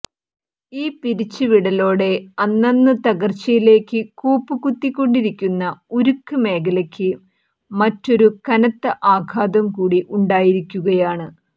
ഈ പിരിച്ച് വിടലോടെ അന്നന്ന് തകർച്ചയിലേക്ക് കൂപ്പ് കുത്തിക്കൊണ്ടിരിക്കുന്ന ഉരുക്ക് മേഖലയ്ക്ക് മറ്റൊരു കനത്ത ആഘാതം കൂടി ഉണ്ടായിരിക്കുകയാണ്